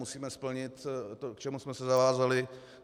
Musíme splnit to, k čemu jsme se zavázali.